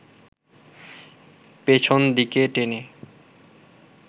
পেছন দিকে টেনে